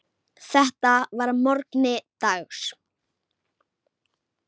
Þetta var að morgni dags.